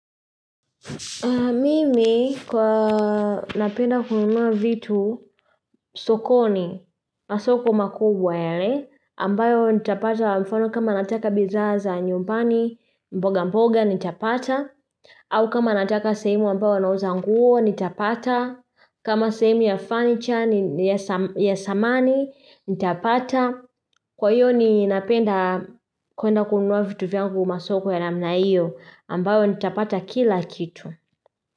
Mimi kwa napenda kununua vitu sokoni. Masoko makubwa yale, ambayo ntapata mfano kama nataka bizaa za nyumbani, mboga mboga nitapata, au kama nataka sehhemu ambayo wanauza nguo nitapata, kama sehemu ya fanicha ni yes sam ya samani nitapata, kwa hiyo ninapenda kuenda kununua vitu vyangu masoko ya namna hiyo, ambayo nitapata kila kitu.